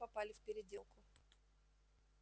но мы попали в переделку